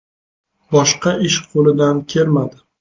Boshqa ish qo‘lidan kelmadi.